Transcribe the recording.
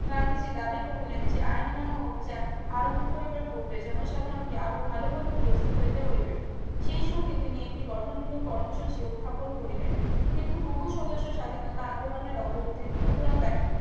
গান্ধীজি দাবি করিলেন যে আইন অমান্য অভিযান আরম্ভ করিবার পূর্বে জনসাধারণকে আরো ভালো ভাবে প্রস্তুত হতে হইবে সেই সংঘে তিনি একটি গঠনমূলক কর্ম সূচি উত্থাপন করিলেন কিন্তু বহু সদস্য স্বাধীনতা আন্দোলনের অগ্রগতির মনথুরতাই